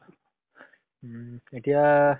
উম, এতিয়া